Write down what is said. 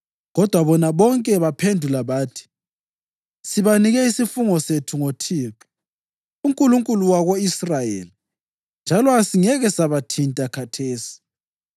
kodwa bona bonke baphendula bathi, “Sibanike isifungo sethu ngoThixo, uNkulunkulu wako-Israyeli njalo asingeke sabathinta khathesi.